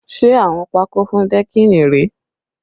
Ṣé awọ́n pakó fún dẹ́kìnì rèé?